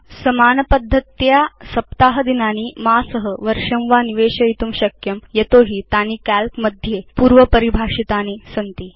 भवान् समान पद्धत्या केवलं सप्ताह दिनानि मासं वर्षं वा निवेशयितुं शक्नोति यतो हि तानि काल्क मध्ये पूर्व परिभाषितानि सन्ति